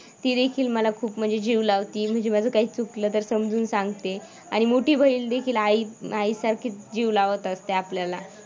ती देखील मला खूप म्हणजे जीव लावते. म्हणजे माझा काही चुकलं तर समजून सांगते. आणि मोठी बहीण देखील आई आईसारखीच जीव लावत असते आपल्याला.